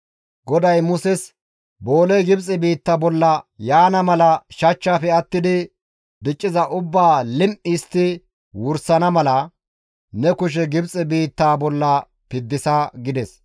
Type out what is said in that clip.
GODAY Muses, «Booley Gibxe biitta bolla yaana mala shachchaafe attidi dicciza ubbaa lim7i histti wursana mala, ne kushe Gibxe biittaa bolla piddisa» gides.